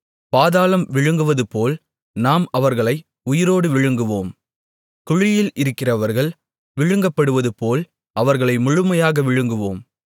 பாதாளம் விழுங்குவதுபோல் நாம் அவர்களை உயிரோடு விழுங்குவோம் குழியில் இறங்குகிறவர்கள் விழுங்கப்படுவதுபோல் அவர்களை முழுமையாக விழுங்குவோம்